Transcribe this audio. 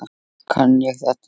Kann ég þetta?